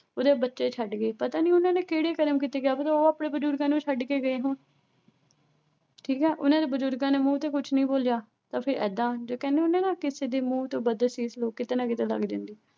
ਉਰੇ ਬੱਚੇ ਛੱਡ ਗਏ, ਪਤਾ ਨੀ ਉਹਨਾਂ ਨੇ ਕਿਹੜੇ ਕਰਮ ਕੀਤੇ ਕਿਆ ਪਤਾ ਉਹ ਆਪਣੇ ਬਜ਼ੁਰਗਾਂ ਨੂੰ ਛੱਡ ਕੇ ਗਏ ਹੋਣ ਠੀਕ ਹੈ ਉਹਨਾਂ ਨੇ ਬਜ਼ੁਰਗਾਂ ਦੇ ਮੂੰਹ ਤੇ ਕੁਛ ਨੀ ਬੋਲਿਆ ਤਾਂ ਫਿਰ ਏਦਾਂ, ਜਦੋਂ ਕਹਿੰਦੇ ਹੁੰਦੇ ਨਾ ਕਿਸੇ ਦੀ ਮੂੰਹ ਤੋਂ ਬਦਅਸ਼ੀਸ਼ ਲਓ, ਕਿਤੇ ਨਾ ਕਿਤੇ ਲੱਗ ਜਾਂਦੀ ਹੈ।